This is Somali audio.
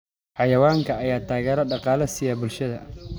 Xayawaankan ayaa taageero dhaqaale siiya bulshada.